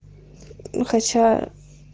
ну хотя